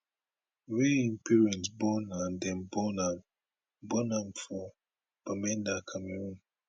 wey im parent born and dem born am born am for bamenda cameroon